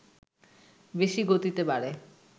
বেশি গতিতে বাড়ে